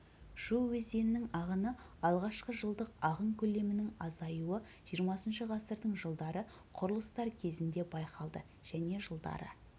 шу өзенінің ағыны алғашқы жылдық ағын көлемінің азаюы жиырмасыншы ғасырдың жылдары құрылыстар кезінде байқалды және жылдары